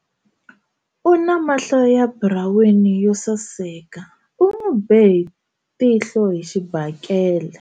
U na mahlo ya buraweni yo saseka u n'wi be tihlo hi xibakele.